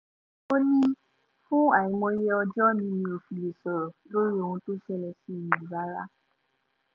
ó ní fún àìmọye ọjọ́ ni mi ò fi lè sọ̀rọ̀ lórí ohun tó ṣẹlẹ̀ sí mi yìí rárá